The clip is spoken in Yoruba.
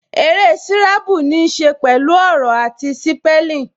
Eré sírábù ní ṣe pẹ̀lú ọ̀rọ̀ àti sípẹ́lìn